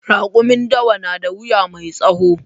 Raƙumin dawa na da wuya mai tsawo